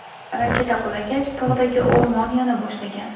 Raketa qulagach tog‘dagi o‘rmon yona boshlagan.